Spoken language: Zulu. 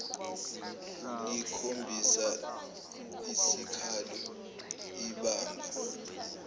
ulikhombisa isikalo ibamba